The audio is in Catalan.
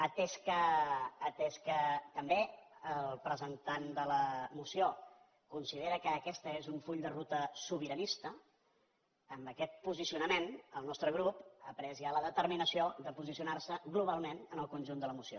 atès que també el presentant de la moció considera que aquest és un full de ruta sobiranista amb aquest posicionament el nostre grup ha pres ja la determinació de posicionar se globalment en el conjunt de la moció